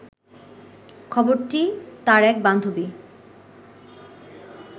খবরটি তার এক বান্ধবী